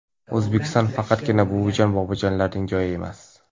O‘zbekiston faqatgina buvijon-bobojonlarning joyi emas.